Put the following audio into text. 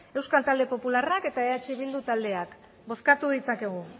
euskal talde popularrak eta eh bildu taldeak bozkatu dezakegu